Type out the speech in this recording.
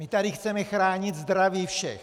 My tady chceme chránit zdraví všech.